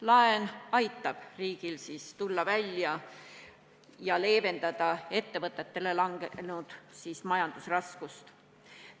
Laen aitab riigil leevendada ettevõtetele langenud majandusraskust ja kriisist välja tulla.